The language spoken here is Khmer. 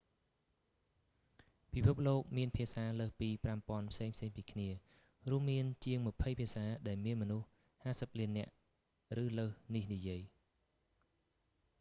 ពិភពលោកមានភាសាលើសពី 5000 ផ្សេងៗពីគ្នា រួមមានជាងម្ភៃភាសាដែលមានមនុស្ស 50 លាននាក់ ឬលើសនេះនិយាយ